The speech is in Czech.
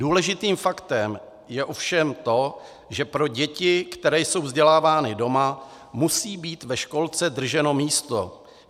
Důležitým faktem je ovšem to, že pro děti, které jsou vzdělávány doma, musí být ve školce drženo místo.